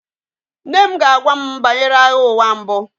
Nne m ga-agwa m banyere Agha Ụwa Mbụ